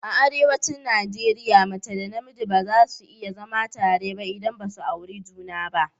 A arewan Najeriya mace da namiji ba za su iya zama tare ba idan basu yi aure juna ba